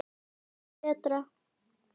Hvað finnst þér um Berta?